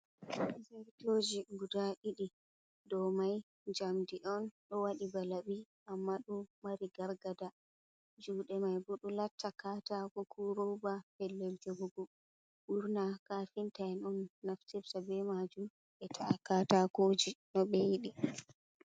Zertoji guɗa ɗidi dau mai jamdi on, do wadi ba labi amma do mari gargada. juude mai bo ɗo latta katako ko rooba. pellel jegugo. Burna kafintain on nafterta be majum be ta’a katakoji no be yidi.